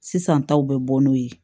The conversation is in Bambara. Sisan taw bɛ bɔ n'o ye